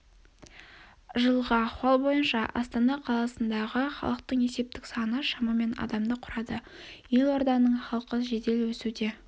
жылғы ахуал бойынша астана қаласындағы халықтың есептік саны шамамен адамды құрады елорданың халқы жедел өсуде